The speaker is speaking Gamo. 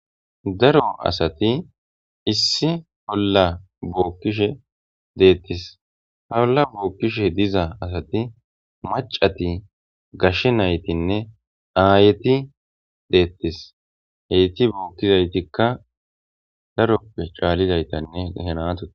daro asati issi polla bookkishe deettis haolla bookkishe diza asati macati gashshe naytinne aayeti deettis heyti bookkizaytikka daroppe caalizaytanne henatote